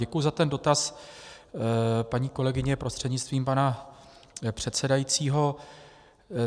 Děkuji za ten dotaz, paní kolegyně prostřednictvím pana předsedajícího.